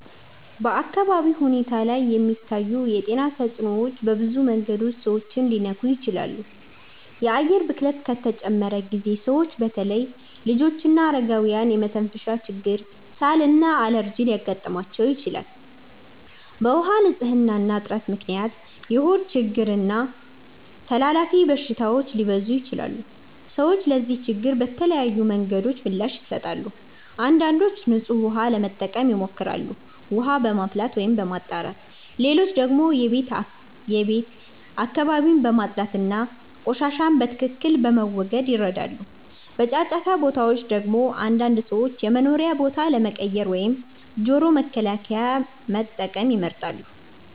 በአካባቢ ሁኔታ ላይ የሚታዩ የጤና ተጽዕኖዎች በብዙ መንገዶች ሰዎችን ሊነኩ ይችላሉ። የአየር ብክለት ከተጨመረ ጊዜ ሰዎች በተለይ ልጆችና አረጋውያን የመተንፈሻ ችግር፣ ሳል እና አለርጂ ሊያጋጥማቸው ይችላል። በውሃ ንፅህና እጥረት ምክንያት የሆድ ችግሮች እና ተላላፊ በሽታዎች ሊበዙ ይችላሉ። ሰዎች ለዚህ ችግር በተለያዩ መንገዶች ምላሽ ይሰጣሉ። አንዳንዶች ንጹህ ውሃ ለመጠቀም ይሞክራሉ፣ ውሃ በማፍላት ወይም በማጣራት። ሌሎች ደግሞ የቤት አካባቢን በማጽዳት እና ቆሻሻን በትክክል በመወገድ ይረዳሉ። በጫጫታ ቦታዎች ደግሞ አንዳንድ ሰዎች የመኖሪያ ቦታ ለመቀየር ወይም ጆሮ መከላከያ መጠቀም ይመርጣሉ።